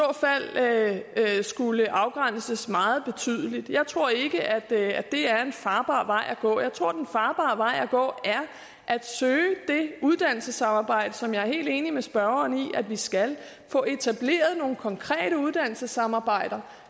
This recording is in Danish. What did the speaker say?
fald skulle afgrænses meget betydeligt jeg tror ikke at det er en farbar vej at gå jeg tror at den farbare vej at gå er at søge det uddannelsessamarbejde som jeg er helt enig med spørgeren i vi skal og få etableret nogle konkrete uddannelsessamarbejder